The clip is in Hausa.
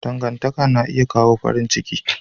Dangantaka na iya kawo farin ciki.